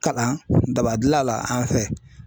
Kalan daba gila la an fɛ.